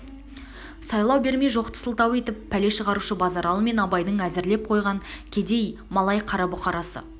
сайлау бермей жоқты сылтау етіп пәле шығарушы базаралы мен абайдың әзірлеп қойған кедей малай қара бұқарасы